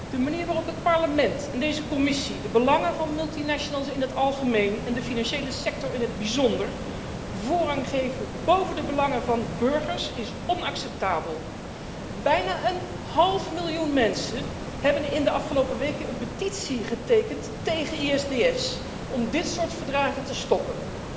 De manier waarop het Parlement en deze Commissie de belangen van multinationals in het algemeen, en de financiële sector in het bijzonder, voorrang geven boven de belangen van burgers, is onacceptabel. Bijna een half miljoen mensen hebben in de afgelopen weken een petitie getekend tegen ISDS om dit soort verdragen te stoppen.